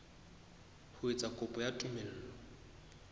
ho etsa kopo ya tumello